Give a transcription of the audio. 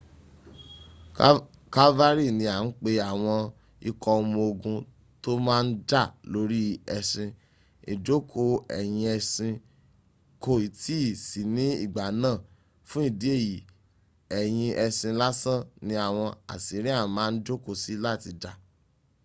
calvary ni a ń pe àwọn ikọ̀́ ọmọ ogun to máa n jà lórí ẹṣin. ìjòkó ẹ̀yìn ẹṣin kòì tí ì sí ní ìgbà náà fún ìdí èyí ẹ̀yìn ẹṣin lásan ni awọn assyrian máa ń jòkó sí láti jà